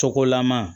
Tɔgɔlama